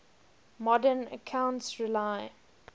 modern accounts rely